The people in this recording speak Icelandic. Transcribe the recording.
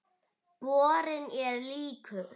Borinn er líkur